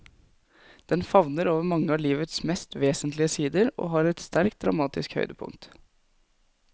Den favner over mange av livets mest vesentlige sider, og har et sterkt dramatisk høydepunkt.